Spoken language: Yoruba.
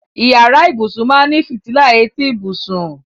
Ìyàrá ìbùṣún máá ní fítílà ètí ìbùṣún.